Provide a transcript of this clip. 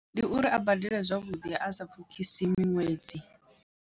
Ndi uri a badele zwavhuḓi asa pfhukhisi miṅwedzi.